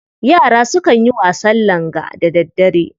Yara sukan yin wasan langa da daddare.